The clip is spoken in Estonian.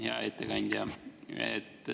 Hea ettekandja!